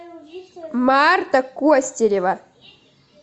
марта костерева